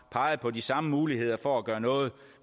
peget på de samme muligheder for at gøre noget